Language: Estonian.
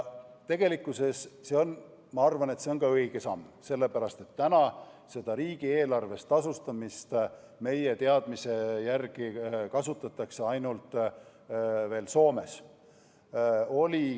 Tegelikkuses on see minu arvates õige samm, sellepärast, et riigieelarvest tasustamist kasutatakse meie teadmise järgi veel ainult Soomes.